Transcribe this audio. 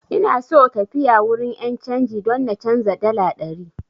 Ina so tafiya wurin 'yan canji don na canza dala ɗari.